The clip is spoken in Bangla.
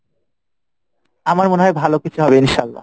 আমার মনে হয় ভালো কিছু হবে ইনশাল্লাহ।